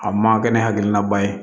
A man kɛ ni hakilinaba ye